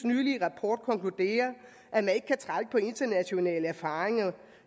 nylige rapport konkluderer at man ikke kan trække på internationale erfaringer